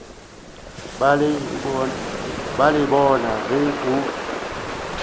ba le bona ge o